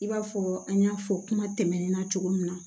I b'a fɔ an y'a fɔ kuma tɛmɛnen na cogo min na